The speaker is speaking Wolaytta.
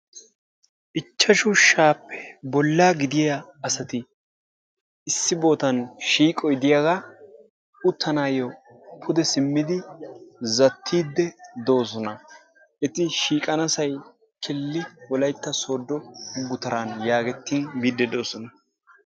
Ichchashshu sha'appe bolla gidiya asati issi sohuwan shiiqoy diyaga uttanayo pude simmidi zaattidi dosona. Eti shiiqanasay killi wolaytta soodo gutaran yaagettin biidi dosona.